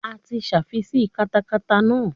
A ti sáfísì katakata náà.